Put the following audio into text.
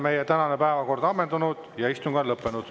Meie tänane päevakord on ammendunud ja istung on lõppenud.